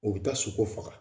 U bi taa sogo faga